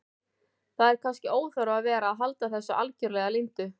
Það er kannski óþarfi að vera að halda þessu algerlega leyndu.